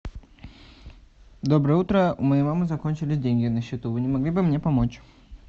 доброе утро у моей мамы закончились деньги на счету вы не могли бы мне помочь